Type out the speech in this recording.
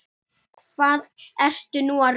Hvað ertu nú að rugla!